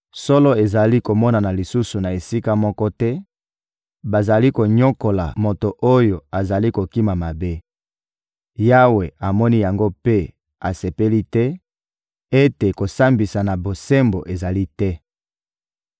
Solo ezali komonana lisusu na esika moko te; bazali konyokola moto oyo azali kokima mabe. Yawe amoni yango mpe asepeli te ete kosambisa na bosembo ezali te.